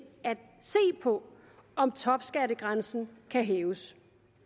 på om topskattegrænsen kan hæves